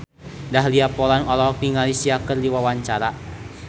Dahlia Poland olohok ningali Sia keur diwawancara